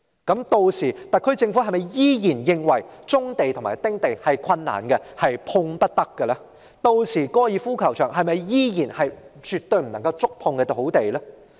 屆時，特區政府是否依然認為收回棕地及丁地是困難的，是碰不得的？屆時，高爾夫球場是否仍然是絕對不能觸碰的土地呢？